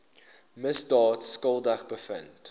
misdaad skuldig bevind